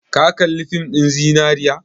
Ka kalli fin ɗin zinariya?